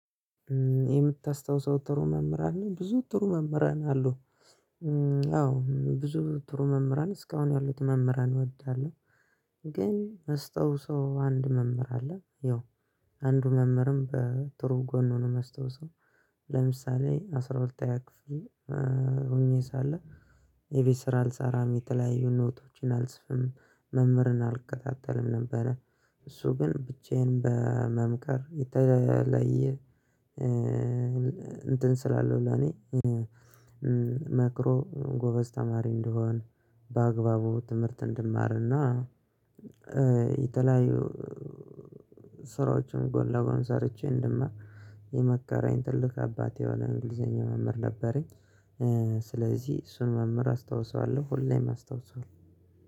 የምታስታውሰው ጥሩ መምህር አለ ብዙ ጥሩ መምህራን አሉ አዎ ብዙ ጥሩ መምህራን እስካሁን ያሉት መምህራን እወዳለሁ። ግን ማስታውሰው አንድ መምህር አለ ያው አንዱ መምህርም በጥሩ ጎን ነው ማስታውሰው። ለምሳሌ አስራ ሁለተኛ ክፍል ሆኜ ሳለ የቤት ስራ አልሰራም የተለያዩ ኖቶችን አልጽፍም መምህርን አልከታተልም ነበረ። እሱ ግን ብቻዬን በመምከር የተለየ እንትን ስላለው ለኔ መክሮ ጎበዝ ተማሪ እንደሆን በአግባቡ ትምህርት እንድማርና የተለያዩ ስራዎችን ጎን ለጎን ሰርቼ እንድማር የመከረኝ ትልቅ አባቴ የሆነ እንግሊዘኛ መምህር ነበረኝ። ስለዚህ እሱን መምህር አስታውሰዋለሁ ሁሌም አስታውሰዋለሁ።